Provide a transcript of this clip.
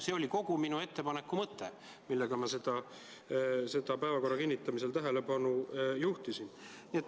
See oli kogu minu ettepaneku mõte, millele ma päevakorra kinnitamisel tähelepanu juhtisin.